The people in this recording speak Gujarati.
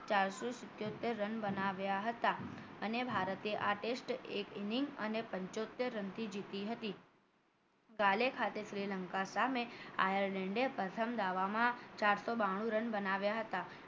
ચારસો સીતોતેર run બનાવ્યા હતા અને ભારતે આ test એક inning અને પંચોતેર રનથી જીતી હતી કાલે ખાતે શ્રીલંકા સામે આયેર્લેન્ડ પ્રથમ દાવા માં ચારસો બાનુ run બનાવ્યા હતા